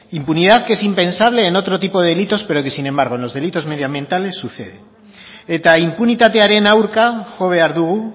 impunidad que es impensable en otro tipo de delitos pero que sin embargo en los delitos medioambientales sucede eta inpunitatearen aurka jo behar dugu